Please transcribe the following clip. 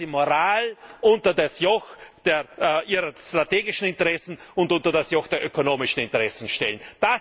Weil Sie Moral unter das Joch ihrer strategischen Interessen und unter das Joch der ökonomischen Interessen stellen.